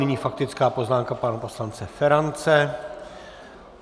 Nyní faktická poznámka pana poslance Ferance.